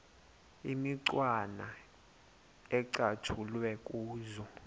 imicwana ecatshulwe kuzo